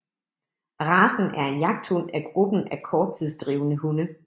Racen er en jagthund af gruppen af korttidsdrivende hunde